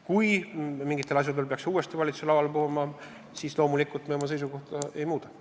Kui mingitel asjaoludel peaks see uuesti valitsuse lauale toodama, siis loomulikult me oma seisukohta ei muuda.